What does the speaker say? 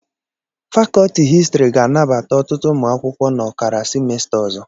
fàkọọtị hịstịrị ga-anabata ọtụtụ ụmụ akwụkwọ n'ọkara sịmèstá ọzọ.